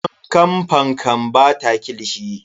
Fankan Fankan bata kilishi.